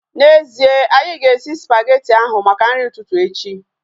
N'ezie, anyị ga-esi spageti ahu maka nri ụtụtụ echi